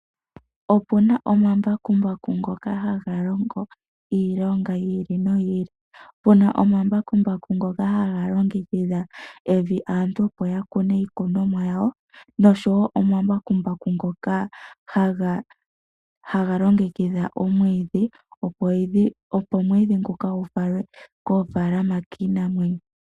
Opuna omambakumbaku ngoka haga longo iilonga yi ili noyi ili, puna omambakumbaku ngoka haga longekidha evi aantu opo yakune iikunomwa yawo nosho wo omambakumbaku ngoka haga longekidha omwidhi opo omwidhi ngoka gufalwe koofaalama kiinamwenyo.